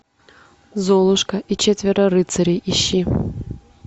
золушка и четверо рыцарей ищи